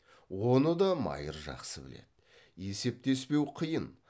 оны да майыр жақсы біледі есептеспеу қиын